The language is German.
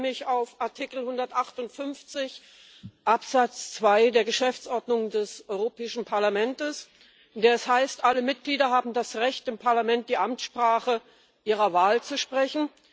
Ich beziehe mich auf Artikel 158 Absatz 2 der Geschäftsordnung des Europäischen Parlaments, in dem es heißt Alle Mitglieder haben das Recht, im Parlament die Amtssprache ihrer Wahl zu sprechen.